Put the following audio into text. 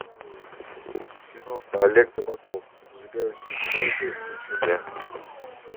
кино олег табаков зажигающий звезды включи мне